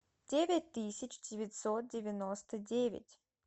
девять тысяч девятьсот девяносто девять